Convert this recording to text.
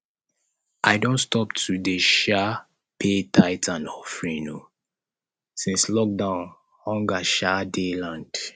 i don stop to dey um pay tithe and offering um since lockdown hunger um dey land